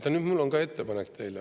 Vaat nüüd mul on teile ettepanek.